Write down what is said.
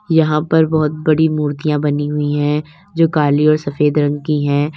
यहां पर बहुत बड़ी मूर्तियां बनी हुई हैं जो काली और सफेद रंग की है।